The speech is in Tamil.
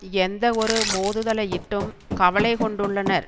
எந்த ஒரு மோதுதலையிட்டும் கவலை கொண்டுள்ளனர்